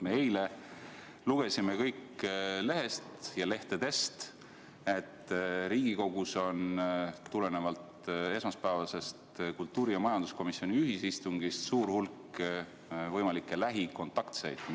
Me eile lugesime lehtedest, et Riigikogus on tulenevalt esmaspäevasest kultuuri- ja majanduskomisjoni ühisistungist suur hulk võimalikke lähikontaktseid.